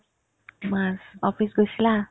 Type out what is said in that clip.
মাছ office গৈছিলা ?